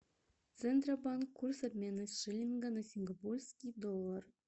центробанк курс обмена шиллинга на сингапурский доллар